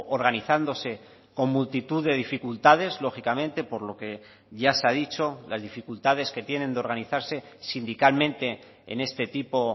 organizándose con multitud de dificultades lógicamente por lo que ya se ha dicho las dificultades que tienen de organizarse sindicalmente en este tipo